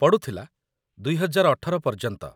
ପଡ଼ୁଥିଲା, ୨୦୧୮ ପର୍ଯ୍ୟନ୍ତ।